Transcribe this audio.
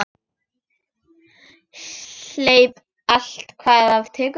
Hleyp allt hvað af tekur.